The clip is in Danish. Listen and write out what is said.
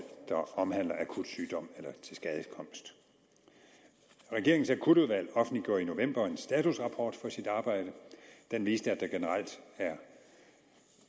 der omhandler akut sygdom eller tilskadekomst regeringens akutudvalg offentliggjorde i november en statusrapport for sit arbejde den viste at der generelt er